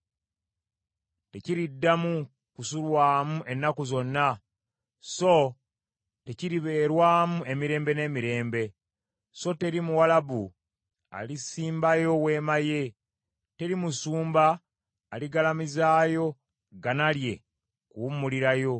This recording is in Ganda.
Tekiriddamu kusulwamu ennaku zonna, so tekiribeerwamu emirembe n’emirembe, so teri Muwalabu alisimbayo weema ye, teri musumba aligalamizaayo ggana lye kuwummulirayo.